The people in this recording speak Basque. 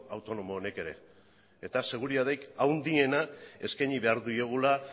autonomo honek ere eta seguritaterik gehiena eskaini behar diegula